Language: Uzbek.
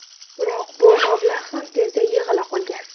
Biroq bu mablag‘ ham tezda yig‘ila qolgan.